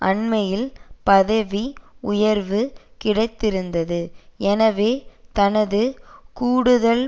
அண்மையில் பதவி உயர்வு கிடைத்திருந்தது எனவே தனது கூடுதல்